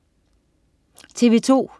TV2: